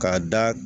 K'a da